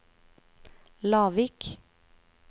Lavik